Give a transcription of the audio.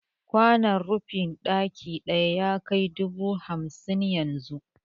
Kwanon rufi bandir ɗaya yakai dubu hamsin yanzu